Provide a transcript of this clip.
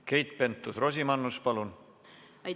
Keit Pentus-Rosimannus, palun!